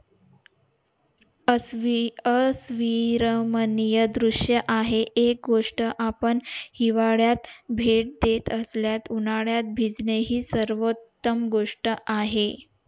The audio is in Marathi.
अस्वी अं अस्विमरणीय दृश्य आहे एक गोष्ट आपण हिवाळ्यात भेट देत असल्यास उन्हाळ्यात भेटणे हि सर्वंतम गोष्ट आहे